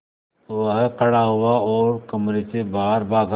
वह खड़ा हुआ और कमरे से बाहर भागा